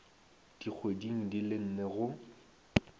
dikgweding di le nne go